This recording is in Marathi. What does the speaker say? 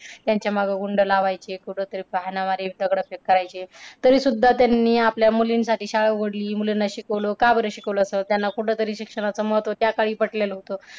त्यांच्या मागे गुंडं लावायचे. कुठं तरी हाणामारी दगडं फेक करायचे. तरीसुद्धा त्यांनी आपल्या मुलींसाठी शाळा उघडली. मुलींना शिकवलं. का बरं शिकवलं असल? त्यांना कुठं तरी शिक्षणाचं महत्त्व त्याकाळी पटलेलं होतं.